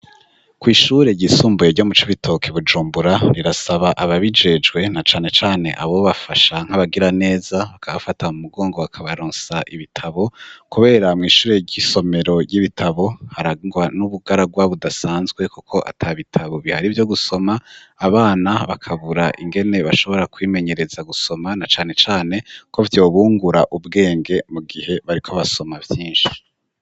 Kw'ishure ryisumbuye ryo m'ucubitoke ibujumbura, rirasaba aba bijejwe na cane cane abo bafasha nk'abagira neza bakabafata mu mugongo bakabaronsa ibitabo. Kubera mu ishure ry'isomero ry'ibitabo harangwa n'ubugaragwa budasanzwe, kuko ata bitabo bihari vyo gusoma abana bakabura ingene bashobora kwimenyereza gusoma, na cane cane ko vyo bungura ubwenge mu gihe bariko basoma vyinshi.